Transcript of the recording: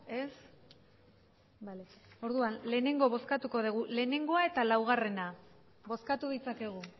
ez bale orduan lehenengo bozkatuko dugu batgoa eta laua bozkatu dezakegu